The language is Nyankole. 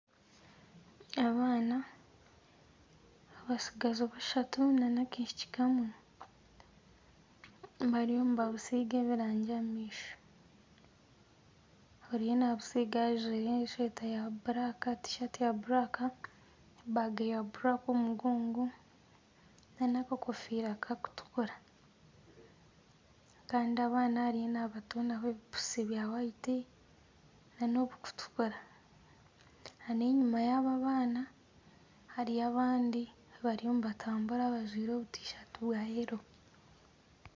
Abaana abatsigazi bashatu n'akaishiki kamwe bariyo nibabusiiga ebirangi aha maisho. Ariyo nabusiiga ajwaire eshweta erikwiragura, tisaati erikwiragura, ebaaga erikwiragura omu mugongo n'akakofiira kakutukura. Kandi abaana ariyo nabatonaho ebipusi birikwera n'obukutukura. Kandi enyima yaabo abaana, hariyo abandi bariyo nibatambura bajwaire obutisaati bwa yero.